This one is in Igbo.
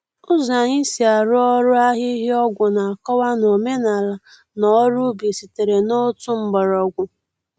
Ụzọ anyị si arụ ọrụ ahihia-ọgwụ na-akọwa na omenala na ọrụ ubi sitere n’otu mgbọrọgwụ.